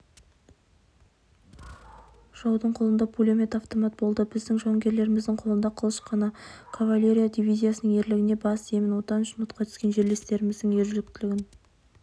жаудың қолында пулемет автомат болды біздің жауынгерлеріміздің қолында қылыш қана кавалерия дивизиясының ерлігіне бас иемін отан үшін отқа түскен жерлестеріміздің ержүректілігін